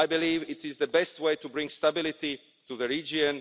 I believe it is the best way to bring stability to the region.